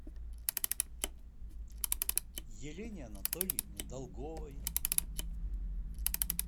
елене анатольевне долговой